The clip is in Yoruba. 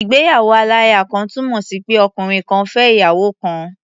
Ìgbéyàwó-aláya-kan túnmọ̀ sí pé ọkùnrin kan fẹ́ ìyàwó kan.